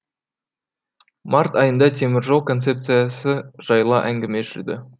март айында теміржол концепсиясы жайлы әңгіме жүрді